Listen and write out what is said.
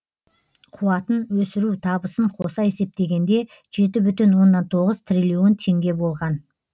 қуатын өсіру табысын қоса есептегенде жеті бүтін оннан тоғыз триллион теңге болған